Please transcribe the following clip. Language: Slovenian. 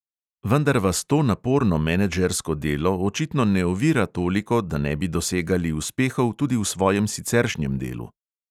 Vendar vas to naporno menedžersko delo očitno ne ovira toliko, da ne bi dosegali uspehov tudi v svojem siceršnjem delu.